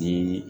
Ni